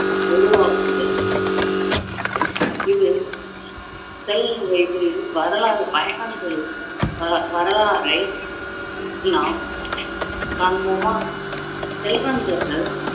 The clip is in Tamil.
உருவாக்குதல் இது வயதில் வரலாறு பயணங்களில் ஆஹ் வரலாறை நாம் காண்போமா செல்வந்தர்கள்